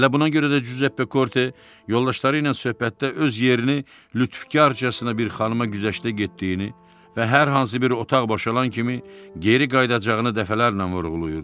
Elə buna görə də Cüzeppe Korte yoldaşları ilə söhbətdə öz yerini lütfkarcasına bir xanıma güzəştdə getdiyini və hər hansı bir otaq boşalan kimi geri qayıdacağını dəfələrlə vurğulayırdı.